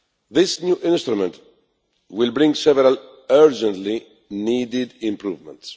This new instrument will bring several urgently needed improvements.